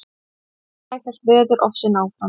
Næsta dag hélt veðurofsinn áfram.